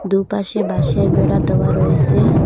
দু'পাশে বাঁশের বেড়া দেওয়া রয়েসে।